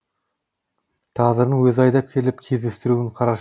тағдырдың өзі айдап келіп кездестіруін қарашы